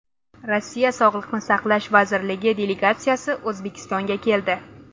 Rossiya sog‘liqni saqlash vazirligi delegatsiyasi O‘zbekistonga keldi.